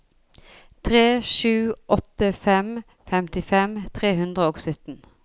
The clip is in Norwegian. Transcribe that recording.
tre sju åtte fem femtifem tre hundre og sytten